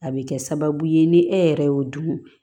A bɛ kɛ sababu ye ni e yɛrɛ y'o dun